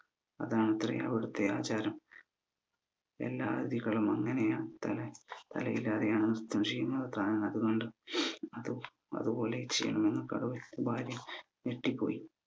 അതാണത്രേ അവിടുത്തെ ആചാരം എല്ലാ അതിഥികളും അങ്ങനെ ആണ് തല തലയില്ലാതെ ആണ് ന്രത്തം ചെയ്യുന്നത് അതും അത് പോലെ ചെയ്യണം ഞെട്ടിപോയി